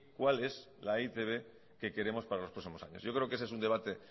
cuál es la e i te be que queremos para los próximos años yo creo que ese es un debate